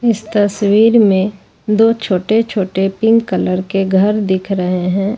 इस तस्वीर में दो छोटे छोटे पिंक कलर के घर दिख रहे हैं।